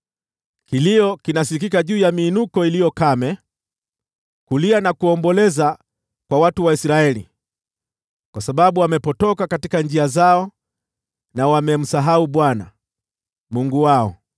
Kilio kinasikika juu ya miinuko iliyo kame, kulia na kuomboleza kwa watu wa Israeli, kwa sababu wamepotoka katika njia zao na wamemsahau Bwana Mungu wao.